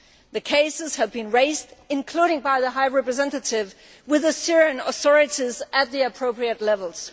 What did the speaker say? These cases have been raised including by the High Representative with the Syrian authorities at the appropriate levels.